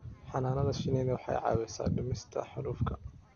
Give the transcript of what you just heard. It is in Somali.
Xannaanada shinnidu waxay caawisaa dhimista xaalufka.